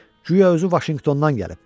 Guya özü Vaşinqtondan gəlib.